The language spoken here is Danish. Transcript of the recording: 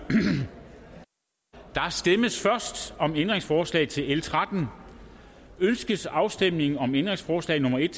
stemmes først om ændringsforslag til l 13 ønskes afstemning om ændringsforslag nummer en